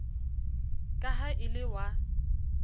ka ha e le wa